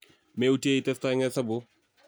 meutye itesta eng hesabuk